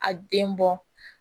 A den bɔ